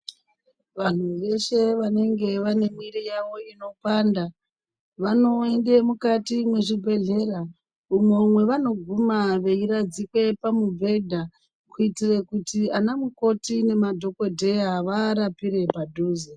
Vanthu veshe vanenge vane mwiri yavo inopanda vanoende mukati mwezvibhedhlera umwo mwevanoguma veiradzikwe pamubhedha kuitire kuti ana mukoti nemadhokodheya vaarapire padhuze.